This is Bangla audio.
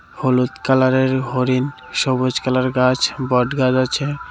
হলুদ কালারের হরিণ সবুজ কালার গাছ বটগাছ আছে .